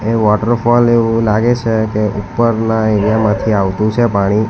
Waterfall એવું લાગે છે કે ઉપરના એરિયા માંથી આવતું છે પાણી.